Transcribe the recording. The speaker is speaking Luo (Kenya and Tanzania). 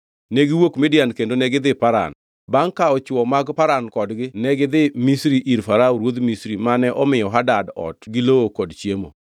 Ne giwuok Midian kendo negidhi Paran. Bangʼ kawo chwo mag Paran kodgi negidhi Misri, ir Farao ruodh Misri, mane omiyo Hadad ot gi lowo kod chiemo.